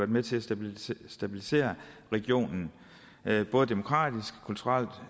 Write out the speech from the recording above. med til at stabilisere stabilisere regionen både demokratisk kulturelt